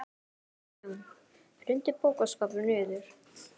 Kristján: Hrundi bókaskápur niður?